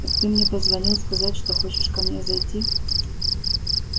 ты мне позвонил сказать что хочешь ко мне зайти